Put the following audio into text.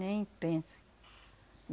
Nem pensa.